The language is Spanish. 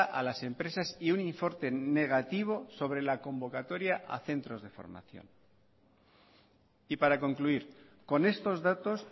a las empresas y un informe negativo sobre la convocatoria a centros de formación y para concluir con estos datos